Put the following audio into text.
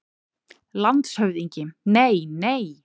LANDSHÖFÐINGI: Nei, nei!